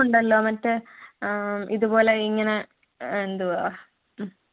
തുമുണ്ടല്ലോ മറ്റേ ആഹ് ഇത് പോലെ ഇങ്ങനെ എന്തുവാ